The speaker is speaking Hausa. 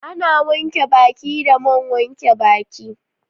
Ana wanke baki da man wanke baki